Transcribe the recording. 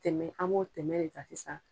Tɛmɛ an b'o tɛmɛ de ta sisan.